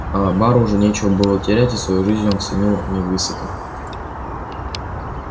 аа бару уже нечего было терять и свою жизнь он ценил невысоко